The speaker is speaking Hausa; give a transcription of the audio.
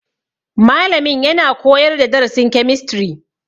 Malamin yana koyar da darasin kemistri.